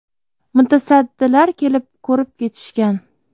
Mutasaddilar kelib ko‘rib ketishgan.